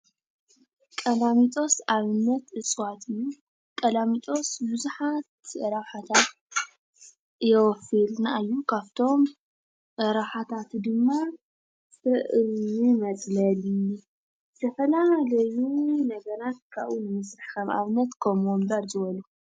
ቀላሚጦስ ኣብነት እፅዋት እዩ። ቀላሚጦስ ብዙሓት ረብሓታት የወፍየልና እዩ። ካብቶም ረብሓታቱ ድማ መፅለሊ፣ ዝተፈላለዩ ነገራት ካብኡ ንምስራሕ ንኣብነት ከም ወንበር ዝበሉ።